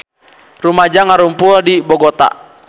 Rumaja ngarumpul di Bogota